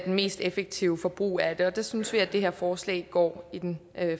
mest effektive forbrug af det og der synes vi at det her forslag går i den